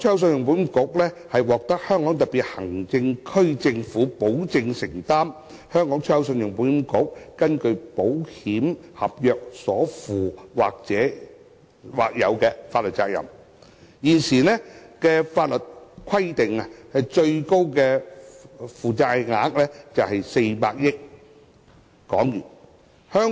信保局獲香港特別行政區政府保證，會承擔信保局根據保險合約所負的或有法律責任。現時的法定最高負債額是400億港元。